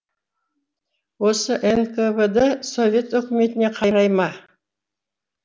осы нквд совет өкіметіне қарай ма